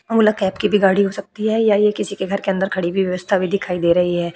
ओला cab की भी गाड़ी हो सकती है या ये किसी के घर के अंदर खड़ी हुई व्यवस्था भी दिखाई दे रही है।